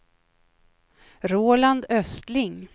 Roland Östling